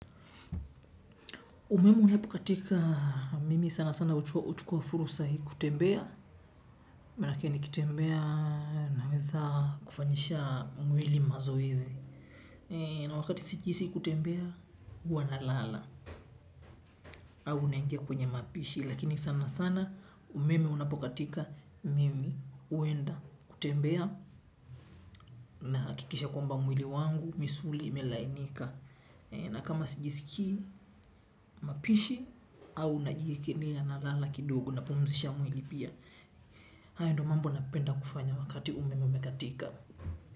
Umeme unapokatika mimi sana sana huchukua fursa hii kutembea, maanake nikitembea naweza kufanyisha mwili mazoezi. Na wakati sijihisi kutembea, huwa nalala ama unaingia kwenye mapishi. Lakini sana sana umemu unapokatika mimi huenda kutembea na hakikisha kwamba mwili wangu, misuli, imelainika. Na kama sijiskii mapishi au najike nila na lala kidogo na pumusisha mwili pia. Haido mambo napenda kufanya wakati ume mwemekatika.